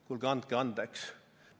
Kuulge, andke andeks!